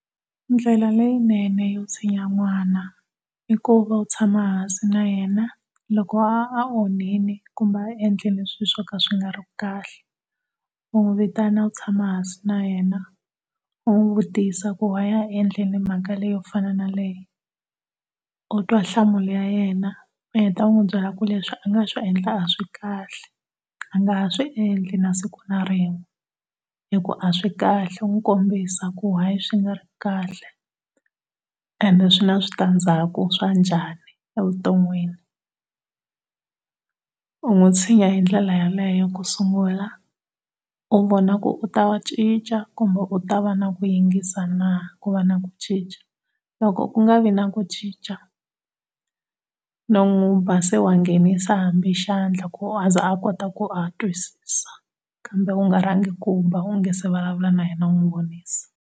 Ndlela leyinene yo tshinya n'wana i ku va u tshama hansi na yena loko a a onhile kuma endlele swilo swo ka swi nga ri kahle u n'wi vitana u tshama hansi na yena u n'wi vutisa ku-why a endlile mhaka leyi yo fana na leyi utwa hlamula ya yena u heta u n'wi byela ku leswi a nga swi endla a swikahle, a nga ha swiendli nasiku na rin'we hikuva a swikahle u n'wi kombisa ku why swi nga ri kahle ende swi na switandzhaku swa njhani evutonwini. U n'wi tshinya hi ndlela ya leyo ku sungula u vona ku u ta cinca kumbe u ta va ku na ku yingisa na, ku va na ku cinca, loko ku nga vi na ku cinca non'wiba se wa nghenisa hambi xandla ku a ze a kota ku a twisa kambe u nga rhangi u kumba u nga se vulavula na yena u n'wi vonisa.